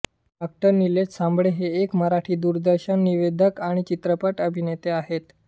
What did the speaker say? डॉ निलेश साबळे हे एक मराठी दूरदर्शन निवेदक आणि चित्रपट अभिनेते आहेत